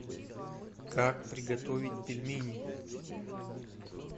как приготовить пельмени